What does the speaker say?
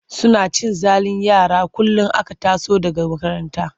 Suna cin zalin yara kullum aka taso daga makaranta.